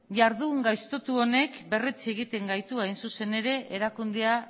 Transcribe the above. jardun gaiztotu honek berretsi egiten gaitu hain zuzen ere erakundea